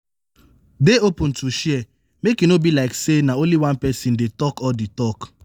dey open to share make e no be like sey na only one person dey talk all di talk